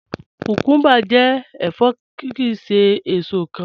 Kúkúmbà jẹ́ ẹ̀fọ́ kíì ṣè èṣò kán